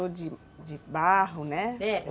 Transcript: Ou de de barro, né? É